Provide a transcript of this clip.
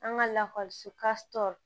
An ka lakɔliso